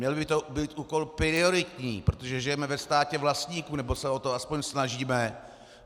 Měl by to být úkol prioritní, protože žijeme ve státě vlastníků, nebo se o to aspoň snažíme.